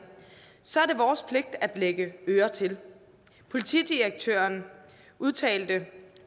så er det vores pligt at lægge øre til politidirektøren udtalte